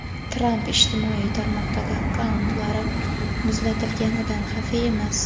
Tramp ijtimoiy tarmoqdagi akkauntlari "muzlatilganidan" xafa emas.